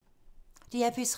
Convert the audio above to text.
DR P3